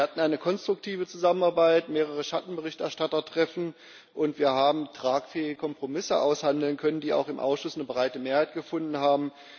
Wir hatten eine konstruktive Zusammenarbeit, mehrere Schattenberichterstattertreffen, und wir haben tragfähige Kompromisse aushandeln können, die auch im Ausschuss eine breite Mehrheit gefunden haben.